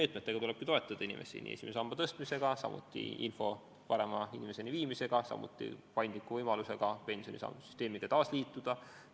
Inimesi tulebki toetada eri meetmetega, nii esimese samba suurendamisega, samuti info parema jagamisega ning paindliku võimalusega pensionisambasüsteemiga taas liituda.